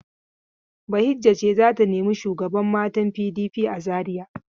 Bahijja ce za ta nemi shugaban matan PDP a Zariya.